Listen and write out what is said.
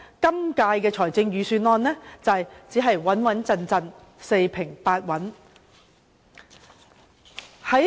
因此，今年的預算案只可說是"穩穩陣陣"、四平八穩。